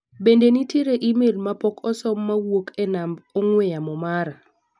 Bende nitiere imel ma pok osom ma owuok e namab ong'ue yamo mara?